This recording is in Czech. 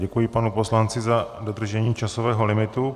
Děkuji panu poslanci za dodržení časového limitu.